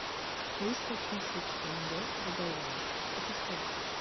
триста тысяч тенге в долларах это сколько